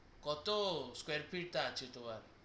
কত square feet আছে তোমার